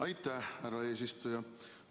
Aitäh, härra eesistuja!